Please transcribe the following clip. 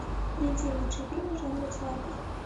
найди лучшие фильмы жанра театр